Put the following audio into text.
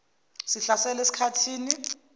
sihlasela esik hathini